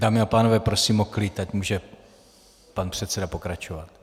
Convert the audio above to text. Dámy a pánové, prosím o klid, ať může pan předseda pokračovat.